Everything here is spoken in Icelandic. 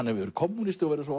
hefur verið kommúnisti og svo